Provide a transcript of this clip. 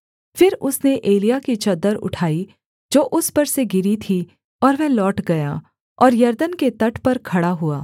फिर उसने एलिय्याह की चद्दर उठाई जो उस पर से गिरी थी और वह लौट गया और यरदन के तट पर खड़ा हुआ